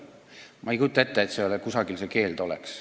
Ma ei kujuta ette, et kusagil see keeld oleks.